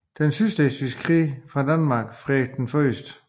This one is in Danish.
Slesvigske Krig fra Danmark Frederik 01